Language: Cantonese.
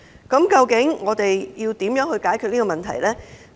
究竟怎樣解決這個問題呢？